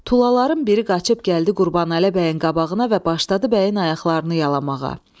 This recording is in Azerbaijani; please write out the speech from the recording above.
Tulaların biri qaçıb gəldi Qurbanəli bəyin qabağına və başladı bəyin ayaqlarını yalamağa.